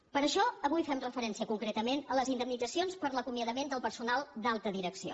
per això avui fem referència concretament a les indemnitzacions per l’acomiadament del personal d’alta direcció